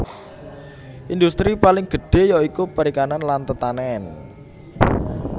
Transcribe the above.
Indhustri paling gedhé ya iku perikanan lan tetanèn